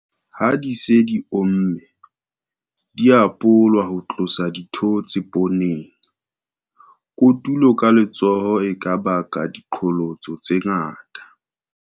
Ha di se di omme, di a polwa ho tlosa dithootse pooneng. Kotulo ka letsoho e ka baka diqholotso tse ngata.